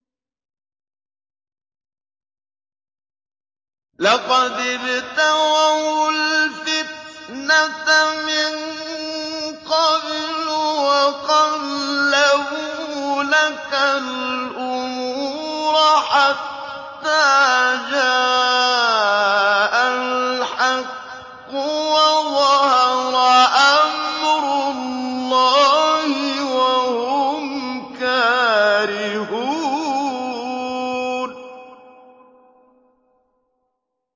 لَقَدِ ابْتَغَوُا الْفِتْنَةَ مِن قَبْلُ وَقَلَّبُوا لَكَ الْأُمُورَ حَتَّىٰ جَاءَ الْحَقُّ وَظَهَرَ أَمْرُ اللَّهِ وَهُمْ كَارِهُونَ